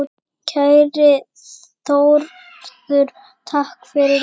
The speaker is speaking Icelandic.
Kæri Þórður, takk fyrir allt.